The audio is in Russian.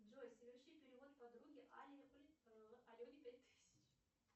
джой соверши перевод подруге алене пять тысяч